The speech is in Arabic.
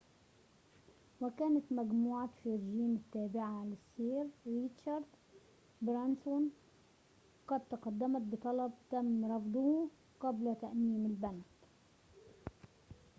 وكانت مجموعة فيرجين التابعة للسير ريتشارد برانسون قد تقدمت بطلب تم رفضه قبل تأميم البنك